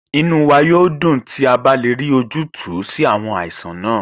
Inú wá yóò dùn tí a bá le rí ojútùú sí àwọn àìsàn náà